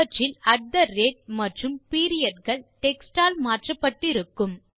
அவற்றில் மற்றும் periodகள் டெக்ஸ்ட் ஆல் மாற்றப்பட்டு இருக்கும்